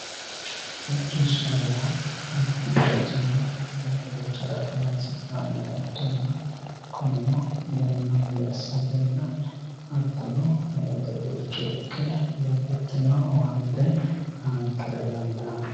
hodhishshaho yaa mittu bayiichinni wole bayiicho harate horoonsi'nanniho ikkanna kunino yanna mule assatenna hattono e"ote buicho ikke babbaxxino owaante aankera dandaanno